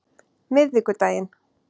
miðvikudaginn